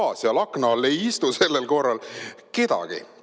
Ahah, seal akna all ei istu sellel korral kedagist.